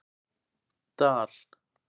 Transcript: Dal